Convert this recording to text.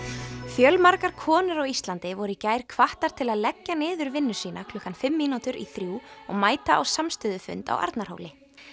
fjölmargar konur á Íslandi voru í gær hvattar til að leggja niður vinnu sína klukkan fimm mínútur í þrjú og mæta á samstöðufund á Arnarhóli